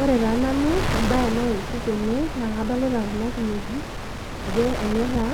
Ore taa nanu embaye naitiship tene naa adolita kuna kinejik ajo enyaita